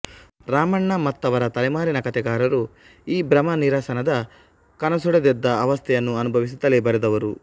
ರಾಮಣ್ಣ ಮತ್ತವರ ತಲೆಮಾರಿನ ಕತೆಗಾರರು ಈ ಭ್ರಮನಿರಸನದ ಕನಸೊಡೆದೆದ್ದ ಅವಸ್ಥೆಯನ್ನು ಅನುಭವಿಸುತ್ತಲೇ ಬರೆದವರು